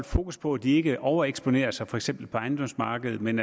fokus på at de ikke overeksponerer sig for eksempel på ejendomsmarkedet men